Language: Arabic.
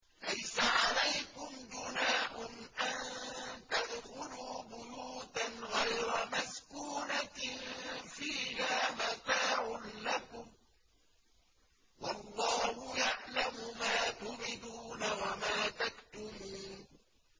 لَّيْسَ عَلَيْكُمْ جُنَاحٌ أَن تَدْخُلُوا بُيُوتًا غَيْرَ مَسْكُونَةٍ فِيهَا مَتَاعٌ لَّكُمْ ۚ وَاللَّهُ يَعْلَمُ مَا تُبْدُونَ وَمَا تَكْتُمُونَ